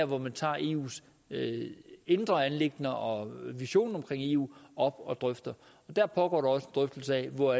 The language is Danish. hvor man tager eus indre anliggender og visionen om eu op og drøfter og dér foregår der også drøftelser af hvor